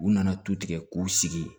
U nana to tigɛ k'u sigi yen